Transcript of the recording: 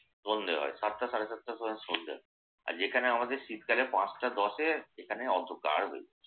সন্ধ্যে হয় সাতটা সাড়ে সাতটার সময় সন্ধ্যা হয়। আর যেখানে আমাদের শীতকালে পাঁচটা দশে এখানে অন্ধকার হয়ে যায়।